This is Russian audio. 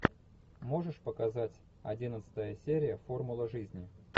можешь показать одиннадцатая серия формула жизни